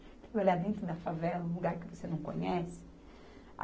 Trabalhar dentro da favela em um lugar que você não conhece?